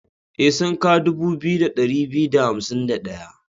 E, sunka dubu biyu da ɗari biyu da hansim da ɗayan.